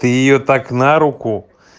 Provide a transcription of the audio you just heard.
ты её так на руку